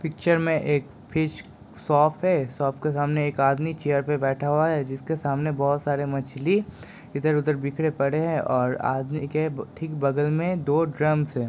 Picture में एक fish shop है शॉप के सामने एक आदमी चेयर पर बैठा हुआ है जिसके सामने बहुत सारी मछली इधर-उधर बिखरी पडे़ हैं और आदमी के ठीक बगल में दो ड्रम्स है।